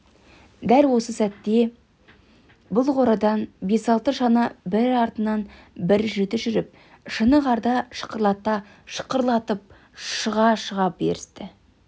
дәл осы кезде бұл қорадан бес-алты шана бірі артынан бірі жіті жүріп шыны қарды шықырлата шақырлатып шыға-шыға берісті